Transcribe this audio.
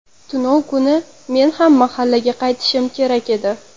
Tunov kuni men ham mahallaga qaytishim kerak edi.